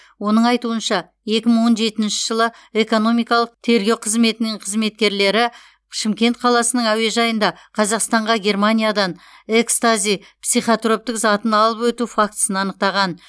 оның айтуынша екі мың он жетінші жылы экономикалық тергеу қызметінің қызметкерлері шымкент қаласының әуежайында қазақстанға германиядан экстази психотроптық затын алып өту фактісін анықтаған